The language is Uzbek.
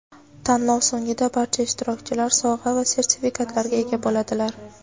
Tanlov so‘ngida barcha ishtirokchilar sovg‘a va sertifikatlarga ega bo‘ladilar!.